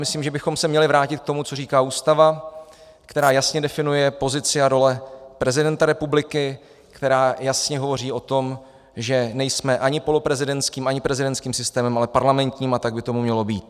Myslím, že bychom se měli vrátit k tomu, co říká Ústava, která jasně definuje pozici a role prezidenta republiky, která jasně hovoří o tom, že nejsme ani poloprezidentským, ani prezidentským systémem, ale parlamentním, a tak by tomu mělo být.